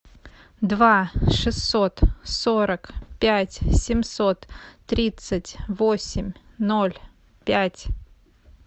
два шестьсот сорок пять семьсот тридцать восемь ноль пять